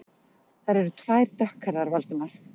Þær eru tvær dökkhærðar, Valdimar